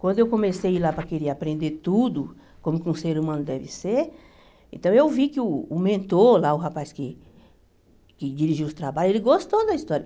Quando eu comecei a ir lá para querer aprender tudo, como que um ser humano deve ser, então eu vi que uh o mentor lá, o rapaz que que dirigiu os trabalhos, ele gostou da história.